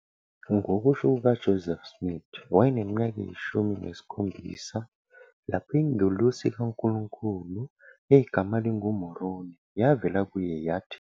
Ngokusho kukaJoseph Smith, wayeneminyaka eyishumi nesikhombisa lapho ingelosi kaNkulunkulu egama linguMoroni yavela kuye yathi